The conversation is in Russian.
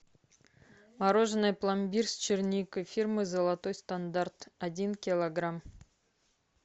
мороженое пломбир с черникой фирмы золотой стандарт один килограмм